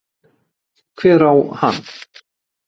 Hver á hann?